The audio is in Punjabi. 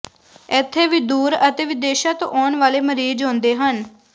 ਇੱਥੇ ਵੀ ਦੂਰ ਅਤੇ ਵਿਦੇਸ਼ਾਂ ਤੋਂ ਆਉਣ ਵਾਲੇ ਮਰੀਜ਼ ਆਉਂਦੇ ਹਨ